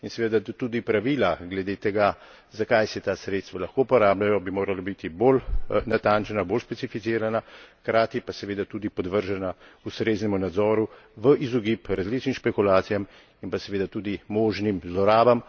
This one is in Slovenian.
In seveda tudi pravila glede tega, za kaj se ta sredstva lahko uporabljajo, bi morala biti bolj natančna, bolj specificirana, hkrati pa seveda tudi podvržena ustreznemu nadzoru v izogib različnim špekulacijam in pa seveda tudi možnim zlorabam.